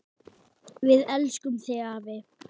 Við elskum þig, afi.